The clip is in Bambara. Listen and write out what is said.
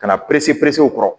Ka na pese o kɔrɔ